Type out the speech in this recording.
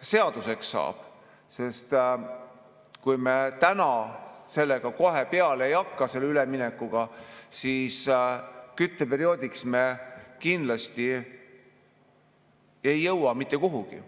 seaduseks saab, sest kui me selle üleminekuga kohe peale ei hakka, siis kütteperioodiks me ei jõua kindlasti mitte kuhugi.